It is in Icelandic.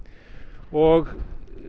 og